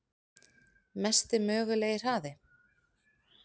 Mesti mögulegi hraði?